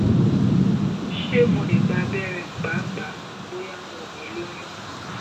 ṣe mo le gba abẹrẹ paapaa bo ya mo ni loyun?